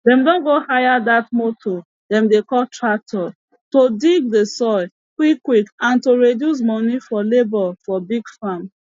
dem don go hire dat motor dem dey call tractor to dig de soil quick quick and to reduce moni for labor for big farm